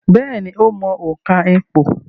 Bẹ́ẹ̀ni, ó mọ òǹkà ìpò